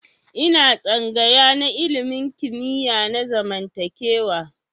Ina tsangaya na ilimin kimiyya na zamantakewa.